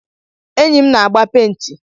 Enyi m na agba penti.